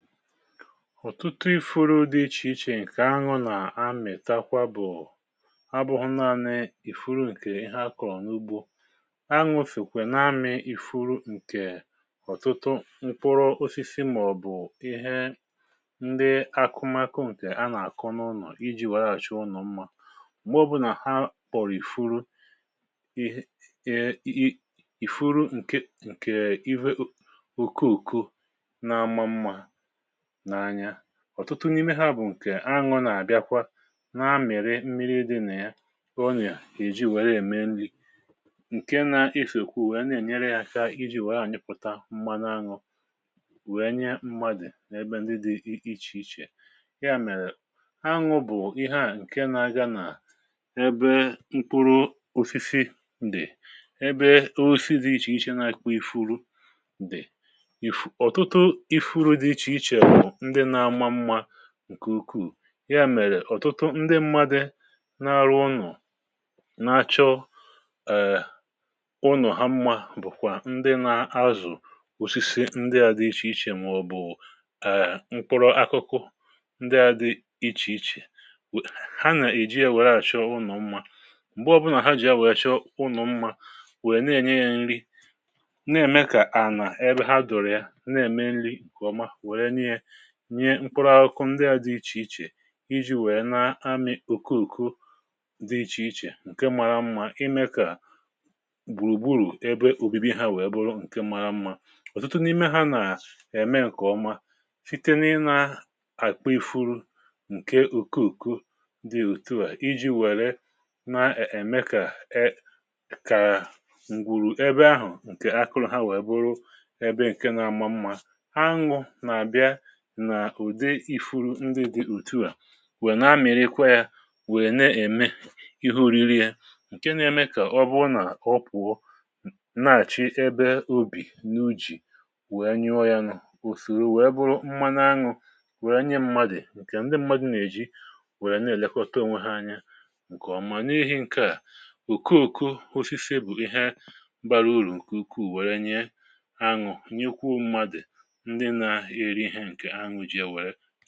Ọtụtụ ifuru dị ichè ichè ǹkè aṅụ nà amìtakwa bụ̀ abụ̀ghị̀ naanị ìfuru ǹkè ha akọ̀ n’ubȯ, aṅụ sokwè na-amị̇ ifuru ǹkè ọ̀tụtụ mkpụrụ osisi mà-ọ̀bụ̀ ihe ndị akụmakụ ǹkè ha nà-àkụ n’ụnọ̀ iji̇ wee hȧchi ụnọ̀ mmȧ. Mgbe ọbụ̇nà ha kpọ̀rọ̀ ìfuru ihe ihe i i ìfuru ǹkè nke ihe ok okoko na-ama mmȧ n’anya. Ọtụtụ n’ime ha bụ̀ ǹkè aṅụ nà-àbịakwa na-amị̀rị mmiri dị nà ya kà onye èji wère ème nri̇ ǹke na-esokwu wèe na-ènyere ya aka iji̇ wèe anyịpụta mmanụ aṅụ wèe nye mmadụ̀ n’ebe ndị dị i ichè ichè. Ya mèrè aṅụ bụ̀ ihe a ǹke na-aga nà ebe mkpụrụ osisi dị. Ebe osisi dị ichè iche nke n’akwọ ifuru dị. Ifu ọ̀tụtụ ifuru dị ichè iche ndị n’ama mma nke ukwuu ya mèrè ọ̀tụtụ ndi mmadị na-arụ ụnọ̀ na-achọ {èè} ụnọ̀ ha mmȧ bụ̀kwà ndi na-azụ̀ osisi ndi ȧ dị ichè ichè mà ọ̀bụ̀ {èè} mkpụrụ akụkụ ndi ȧ dị ichè ichè we ha nà-èji a wèe àchọ ụnọ̀ mma. Mgbè ọbụnà ha jì ya wèe chọọ ụnọ̀ mmȧ wèe ne-ènye ya nri na-ème kà ànà ebe ha dòrò ya na-ème nri nke ọma nwerenụ ya nyẹ mkpụrụ akụkụ ndị à dị ichè ichè iji wèe na-amị̀ okooko di ichè ichè ǹkẹ mara mmȧ imẹ kà gbùrùgburù ebe obibi ha wèe bụrụ ǹkẹ mara mmȧ. Ọtụtụ n’ime ha nà ẹ̀mẹ ǹkẹ̀ ọma site n’ịnȧ àkpị ifuru ǹkẹ okooko di òtù à iji wèrè na-e èmé kà e kà ǹgwùrù ẹbẹ ahụ̀ ǹkẹ akụrụ ha wèe bụrụ ẹbẹ ǹkẹ nȧ mmȧ mmȧ. Aṅụ n’abịa nà ụ̀dị ifuru ndị dị otu à wèè na-amị̀rịkwa yȧ wèè na-ème ihe ori̇ri ya ǹke na-eme kà ọ bụ nà ọ pụ̀ọ n nà-àchị ebe obì n’u̇jì wèe nyụọ ya nụ̀, osòrò wèe bụrụ mmanụ aṅụ̇ wèè nye mmadụ̀ ǹkè ndị mmadụ̇ nà-èji wèè na-èlekọta onwe ha anya ǹkè ọ̀mà. N’ihi ǹkè à okooko osisi bụ ihe bara urù ǹkè ukwu wèè nye aṅụ̀ nyekwuo mmadụ̀ ndị na heri ihe ǹkẹ̀ haṅụ̇ ji ya wee